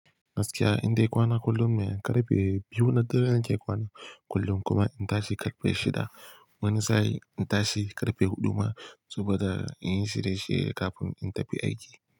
Gaskiya inda kwana kullum mai karfe biyu na dare nake kwana kullum kuma in tashi karfe shida. Wani sa'in in tashi karfe huɗu ma saboda in yi shirye shirye kafin in tafi aiki.